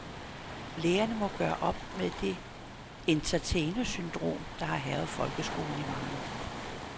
Lærerne må gøre op med det entertainersyndrom, der har hærget folkeskolen i mange år.